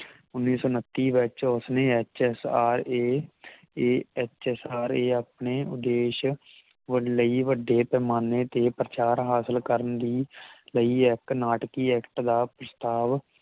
ਉੱਨੀ ਸੌ ਉੱਨਤੀ ਵਿਚ ਉਸਨੇ ਐਚ ਐਸ ਆਰ ਦੇ A H S R A ਆਪਣੇ ਉਦੇਸ਼ ਲਈ ਵੱਡੇ ਪੈਮਾਨੇ ਤੇ ਪ੍ਰਚਾਰ ਹਾਸਿਲ ਕਰਨ ਲਈ ਲਈ ਇਕ ਨਾਟਕੀ ਐਕਟ ਦਾ ਪ੍ਰਸ੍ਤਾਵ